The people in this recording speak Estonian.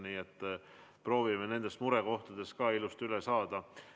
Nii et proovime murekohtadest ka ilusti üle saada.